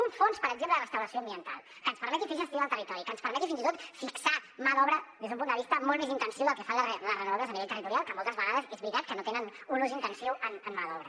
un fons per exemple de restauració ambiental que ens permeti fer gestió del territori que ens permeti fins i tot fixar mà d’obra des d’un punt de vista molt més intensiu que el que fan les renovables a nivell territorial que moltes vegades és veritat que no tenen un ús intensiu en mà d’obra